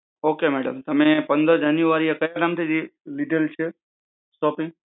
okay madam. તમે પંધરા જાનેવારી લીધેલ છે? shopping?